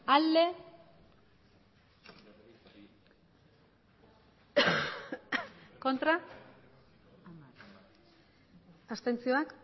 emandako botoak